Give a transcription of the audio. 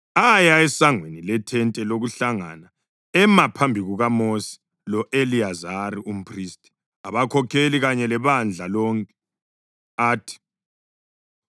esangweni leThente lokuHlangana ema phambi kukaMosi lo-Eliyazari umphristi, abakhokheli kanye lebandla lonke, athi,